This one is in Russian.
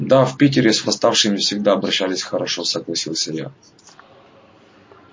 да в питере с восставшими всегда обращались хорошо согласился я